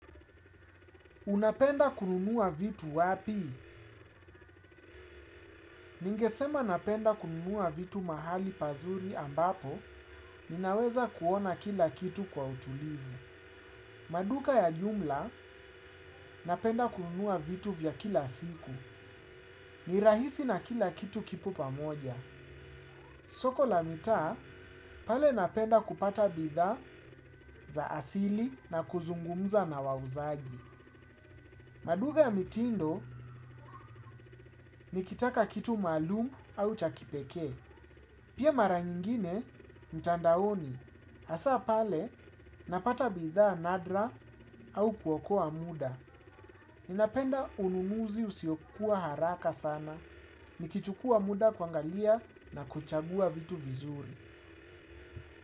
Unapenda kununua vitu wapi? Ningesema napenda kununua vitu mahali pazuri ambapo ninaweza kuona kila kitu kwa utulivu. Maduka ya jumla napenda kununua vitu vya kila siku. Nirahisi na kila kitu kipo pamoja. Soko la mitaa pale napenda kupata bidhaa za asili na kuzungumza na wauzaji. Maduka ya mitindo nikitaka kitu maalumu au cha kipekee. Pia mara nyingine, mtandaoni. Hasa pale, napata bidhaa nadra au kuwokoa muda. Ninapenda ununuzi usiokuwa haraka sana. Nikichukuwa muda kuangalia na kuchagua vitu vizuri.